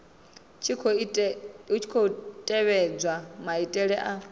tshi khou tevhedzwa maitele a